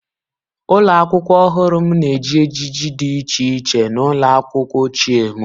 Ụlọ akwụkwọ ọhụrụ m na-eji ejiji dị iche iche n'ụlọ akwụkwọ ochie m.